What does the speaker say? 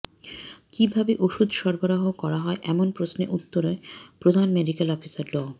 কিভাবে ওষুধ সরবরাহ করা হয় এমন প্রশ্নে উত্তরে প্রধান মেডিকেল অফিসার ডা